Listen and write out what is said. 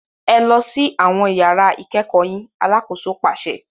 Ẹ lọ si awọn yàrà ikẹkọ yín! Alàkóso paṣẹ